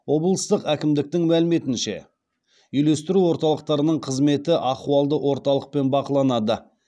облыстық әкімдіктің мәліметінше үйлестіру орталықтарының қызметі ахуалды орталықпен бақыланады